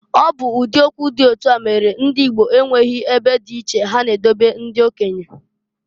Ọ bụ ụdị okwu dị otu a mere na Igbo enweghi ebe dị iche ha na-edobe ndị okenye.